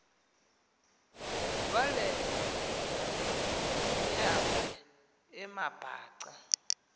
kwale meazwe amabhaca